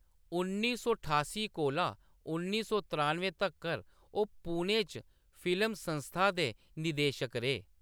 उन्नी सौ ठास्सी कोला उन्नी सौ त्रानुएं तक्कर ओह्‌‌ पुणे च फिल्म संस्था दे निदेशक रेह्।